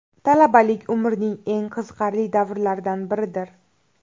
Talabalik − umrning eng qiziqarli davrlaridan biridir.